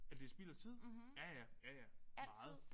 At det spild af tid? Ja ja ja ja meget